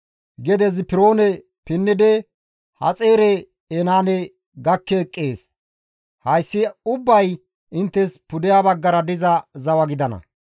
Gede Zipiroone pinnidi Haxaare-Enaane gakki eqqees; hayssi ubbay inttes pudeha baggara diza zawa gidana.